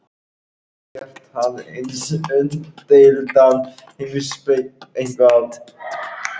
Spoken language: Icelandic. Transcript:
Hann horfði aldrei á varaliðið og sýndi ekki áhuga á að fylgjast með okkur.